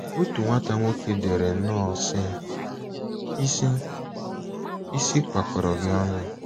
Otu nwata nwoke dere nnọọ, sị: ‘ Isi Isi kpakọrọ gị ọnụ.